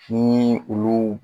Ni ulu